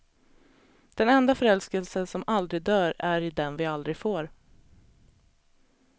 Den enda förälskelse som aldrig dör är i den vi aldrig får.